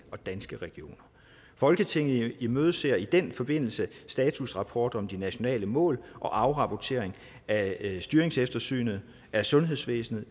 og danske regioner folketinget imødeser i den forbindelse statusrapport om de nationale mål og afrapportering af styringseftersynet af sundhedsvæsenet